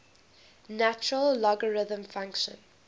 natural logarithm function